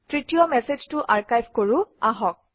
তৃতীয় মেচেজটো আৰ্কাইভ কৰোঁ আহক